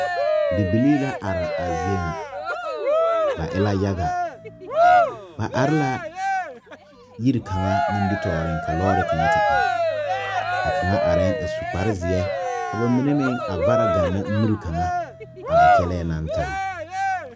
Bibilee la are a zie nyɛ ,ba e la yaga ba are la yiri kaŋa nimi tɔɔriŋ ka lɔɔri kaŋa te are ka kaŋa su kpare zeɛ ka ba mine meŋ a vara gaŋna miri kaŋa a ba kyɛlɛɛ naŋ taa.